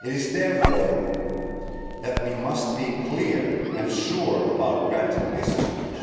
Therefore, we must be clear and sure about granting discharge.